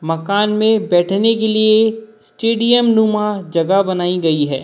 मकान में बैठने के लिए स्टेडियम नुमा जगह बनाई गई है।